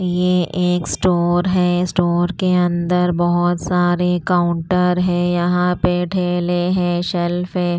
ये एक स्टोर है स्टोर के अंदर बहुत सारे काउंटर है यहाँ पे ठेले हैं शेल्फ है।